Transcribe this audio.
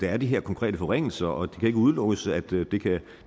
er de her konkrete forringelser og det kan ikke udelukkes at